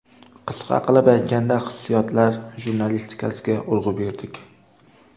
Qisqa qilib aytganda hissiyotlar jurnalistikasiga urg‘u berdik.